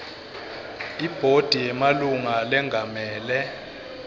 ibhodi yemalunga lengamele